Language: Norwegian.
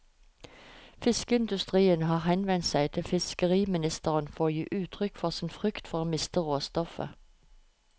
Fiskeindustrien har henvendt seg til fiskeriministeren for å gi uttrykk for sin frykt for å miste råstoff.